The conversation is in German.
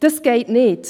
Das geht nicht.